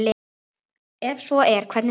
Ef svo er, hvernig þá?